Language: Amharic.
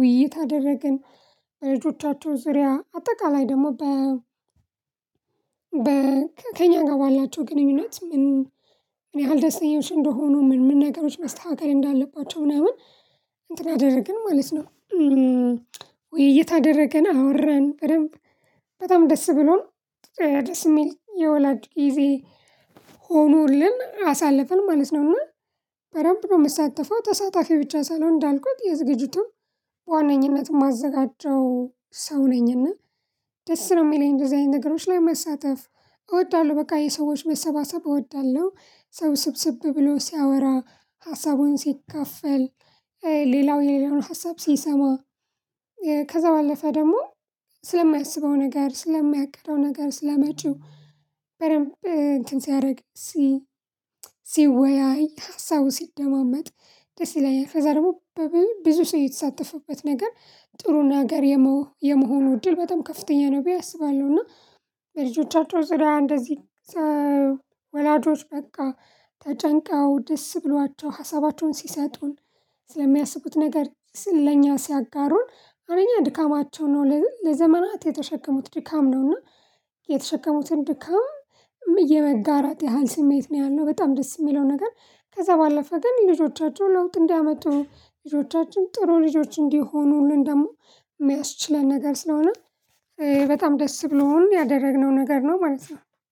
ውይይት አደረግን። ልጆቻቸውን ዙሪያ አጠቃላይ ደግሞ በ ከእኛ ጋር ባላቸው ግንኙነት ምን ያህል ደስተኞዎች እንደሆኑ ምን ምን ነገሮች መስተካከል እንዳለባቸው ምናምን እንትን አደረግን ማለት ነው። ውይይት አደረገን አወረን በደንብ በጣም ደስ ብሎን ደስ የሚል የወላጅ ጊዜ ሆኖልን አሳልፈን ማለት ነው። እና በደንብ ነው እምሳተፈው ተሳታፊ ብቻ ሳልሆን እንዳልኩት የዝግጅቱም በዋነኝነትም እማዘጋጀው ሰው ነኝና። ደስ ነው እሚለኝ እንደዚህ አይነት ነገሮች ላይ መሳተፍ እወዳለሁ። በቃ የሰዎች መሰባሰብ እወዳለሁ ሰው ስብስብ ብሎ ሲያወራ ሀሳቡን ሲካፈል። ሌላው የሌላውን ሀሳብ ሲሰማ። ከዛ ባለፈ ደግሞ ስለማያስበው ነገር ስለሚያቅደው ነገር ስለመጪው በደንብ እንትን ሲያደርግ ሲ ሲወያይ ሀሳቡ ሲደማመጥ ደስ ይለኛል። ከዛ ደግሞ ብዙ ሰው የተሳተፈበት ነገር ጥሩና ነገር የመሆኑ እድል በጣም ከፍተኛ ነው ብዬ አስባለሁ። እና በልጆቻቸው ዙሪያ እንደዚህ ወላጆች በቃ ተጨንቃው ደስ ብሏቸው ሀሳባቸውን ሲሰጡን ስለሚያስቡት ነገር ለኛ ሲያጋሩን አንደኛ ድካማቸው ነው ለዘመናት የተሸከሙት ድካም ነውና። የተሸከሙትን ድካም እየመጋራት ያህል ስሜት ነው ያለው። በጣም ደስ እሚለው ነገር ከዛ ባለፈ ግን ልጆቻቸው ለውጥ እንዲያመጡ ልጆቻችን ጥሩ ልጆች እንዲሆኑልን ደግሞ እሚያስችለን ነገር ስለሆነ። በጣም ደስ ብሎን ያደረግነው ነገር ነው ማለት ነው።